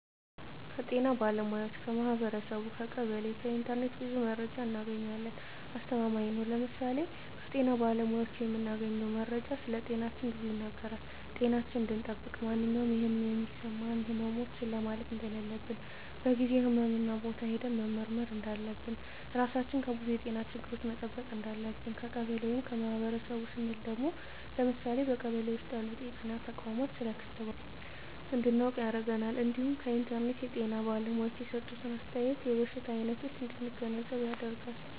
ከጤና ባለሙያዎች ,ከማህበረሰቡ , ከቀበሌ ,ከኢንተርኔት ብዙ መረጃ እናገኛለን። አስተማማኝ ነው ለምሳሌ ከጤና ባለሙያዎች የምናገኘው መረጃ ስለጤናችን ብዙ ይናገራል ጤናችን እንድጠብቅ ማንኛውም የህመም የሚሰማን ህመሞች ችላ ማለት እንደለለብን በጊዜው ህክምህና ቦታ ሄደን መመርመር እንዳለብን, ራሳችን ከብዙ የጤና ችግሮች መጠበቅ እንዳለብን። ከቀበሌ ወይም ከማህበረሰቡ ስንል ደግሞ ለምሳሌ በቀበሌ ውስጥ ያሉ ጤና ተቋማት ስለ ክትባት እንድናውቅ ያደርገናል እንዲሁም ከኢንተርኔት የጤና ባለሙያዎች የሰጡትን አስተያየት የበሽታ አይነቶች እንድንገነዘብ ያደርጋል።